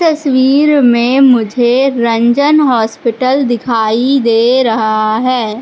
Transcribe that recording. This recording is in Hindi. तस्वीर में मुझे रंजन हॉस्पिटल दिखाई दे रहा है।